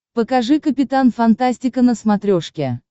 покажи капитан фантастика на смотрешке